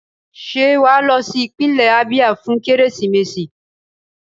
Ṣé wà á lọ sí ìpínlẹ̀ Abia fún Kérésìmesì?